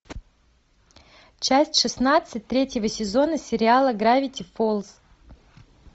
часть шестнадцать третьего сезона сериала гравити фолз